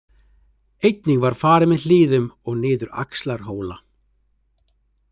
Einnig var farið með hlíðum og niður Axlarhóla.